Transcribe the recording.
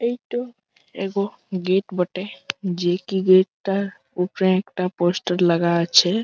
এই তো এগো গেট বটে যে কি গেট -টার উপরে একটা পোস্টার লাগা আছে-এ।